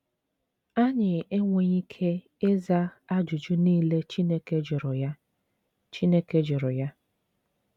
Anyị enweghị ike ịza ajụjụ niile Chineke jụrụ ya. Chineke jụrụ ya.